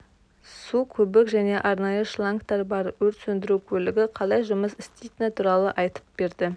су көбік және арнайы шлангтар бар өрт сөндіру көлігі қалай жұмыс істейтіні туралы айтып берді